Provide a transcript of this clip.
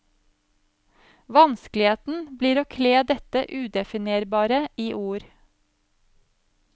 Vanskeligheten blir å kle dette udefinerbare i ord.